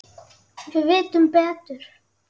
Við vitum betur